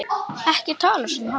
Ekki tala svona hátt.